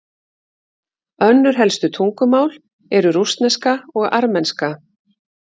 Önnur helstu tungumál eru rússneska og armenska.